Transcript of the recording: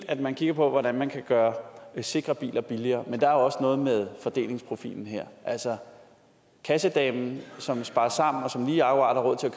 at man kigger på hvordan man kan gøre sikre biler billigere men der er også noget med fordelingsprofilen her altså kassedamen som sparer sammen og som lige akkurat har råd til